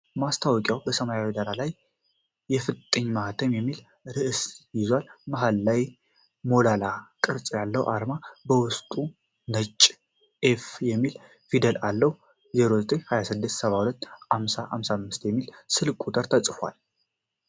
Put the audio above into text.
ማስታወቂያው በሰማያዊ ዳራ ላይ "የፍጥኝ ማህተም" የሚል ርዕስ ይዟል። መሃል ላይ ቀይ ሞላላ ቅርጽ ያለው አርማ በውስጡ ነጭ "ኤች" የሚል ፊደል አለው። "09 26 72 50 55" የሚል ስልክ ቁጥር ተጽፏል።